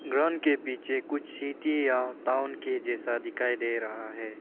Ground के पीछे कुछ सिटी या टाऊन के जैसा दिखाई दे रहा है।